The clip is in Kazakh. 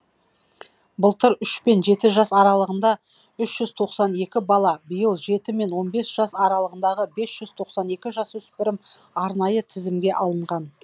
былтыр үш пен жеті жас аралығында үш жүз тоқсан екі бала биыл жеті мен он бес жас аралығындағы бес ж з тоқсан екі жасөспірім арнайы тізімге алынған